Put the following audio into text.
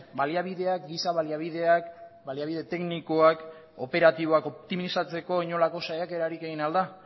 baliabideak giza baliabideak baliabide teknikoak operatiboak optimizatzeko inolako saiakerarik egin al da